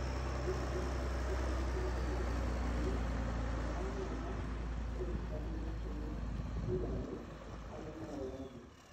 Mbirarũ cia Kenya nĩiraregire ithabu rĩu na mararega kũruta ithabu ria mbirarũ aria maroragirwo